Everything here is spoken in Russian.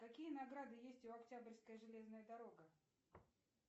какие награды есть у октябрьская железная дорога